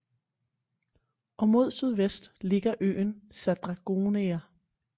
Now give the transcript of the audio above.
Og mod sydvest ligger øen sa dragonera